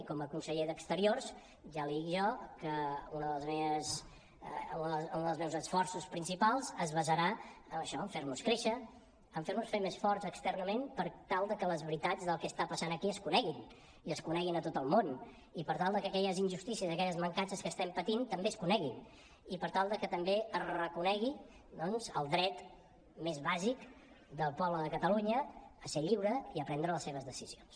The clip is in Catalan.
i com a conseller d’exteriors ja li dic jo que un dels meus esforços principals es basarà en això en fer nos créixer en fer nos ser més forts externament per tal de que les veritats del que està passant aquí es coneguin i es coneguin a tot el món i per tal de que aquelles injustícies i aquelles mancances que estem patint també es coneguin i per tal de que també es reconegui doncs el dret més bàsic del poble de catalunya a ser lliure i a prendre les seves decisions